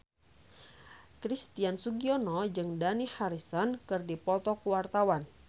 Christian Sugiono jeung Dani Harrison keur dipoto ku wartawan